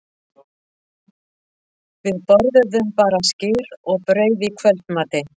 Við borðuðum bara skyr og brauð í kvöldmatinn.